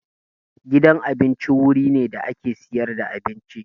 Gidan abinci wuri ne da ake siyar da abinci.